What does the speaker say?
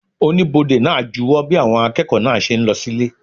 Oníbodè náà júwo bí àwọn akẹ́kọ̀ọ́ náà ṣe ń lọ sílé